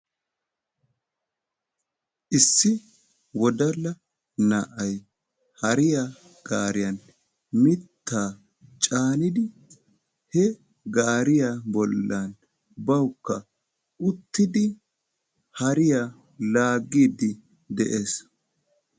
Issi wodalla na'ay haree gaariyan mitta caaniddi bawukka uttiddi laagidde dees.